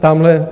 Tamhle -